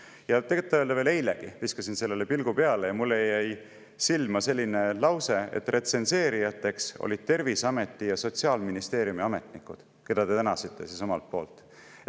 Ja tõtt-öelda veel eilegi viskasin sellele pilgu peale ja mulle jäi silma selline lause, et retsenseerijateks olid Terviseameti ja Sotsiaalministeeriumi ametnikud, keda te tänasite omalt poolt.